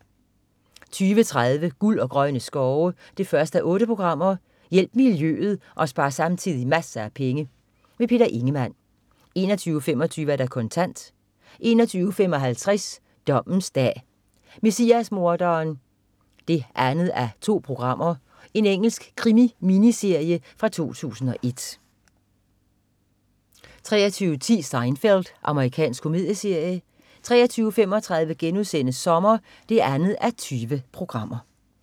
20.30 Guld og grønne skove 1:8. Hjælp miljøet og spar samtidig masser af penge. Peter Ingemann 21.25 Kontant 21.55 Dommens dag: Messias-morderen 2:2. Engelsk krimi-miniserie fra 2001 23.10 Seinfeld. Amerikansk komedieserie 23.35 Sommer 2:20*